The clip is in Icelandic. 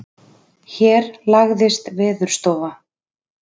Hér lagðist Veðurstofa